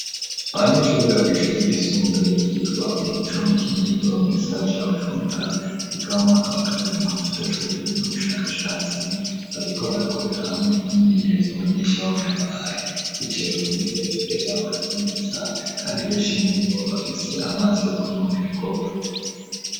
Abanyeshuri biga kuw'ishuri ryisumbuye ryitwa Umuco mu Kinindo mu gisagara ca bucumbura biga muu mwaka wa kabiri mu gisata cu burimyi n'ubushakashatsi bariko barakorera hamwe imyemenyerezo umwigisha wabo yabahaye yicaye ku ntebe imbere yabo hari imeza kandi beshi muri bo bafise amazi yo kunwa mu bikopo.